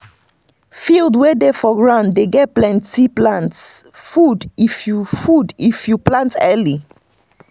field wey dey for ground dey get plenty plant food if you food if you plant early.